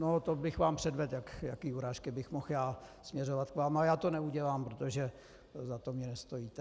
No to bych vám předvedl, jaké urážky bych mohl já směřovat k vám, ale já to neudělám, protože za to mi nestojíte.